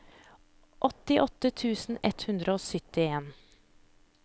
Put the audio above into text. åttiåtte tusen ett hundre og syttien